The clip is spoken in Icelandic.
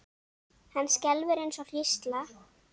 Hann skelfur eins og hrísla.